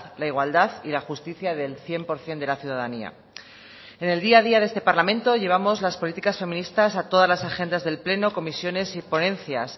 la igualdad y la justicia del cien por ciento de la ciudadanía en el día a día de este parlamento llevamos las políticas feministas a todas las agendas del pleno comisiones y ponencias